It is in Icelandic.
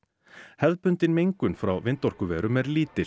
hefðbundin mengun frá vindorkuverum er lítil